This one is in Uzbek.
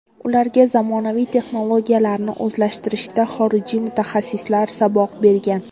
Ularga zamonaviy texnologiyalarni o‘zlashtirishda xorijlik mutaxassislar saboq bergan.